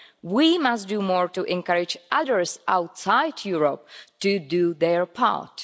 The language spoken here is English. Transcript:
We must do more to encourage others outside Europe to do their part.